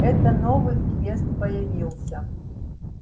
это новый квест появился